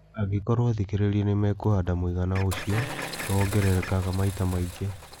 Angĩkorũo athikĩrĩria nĩ "mekũhanda" mũigana ũcio nĩ wongererekaga maita maingi.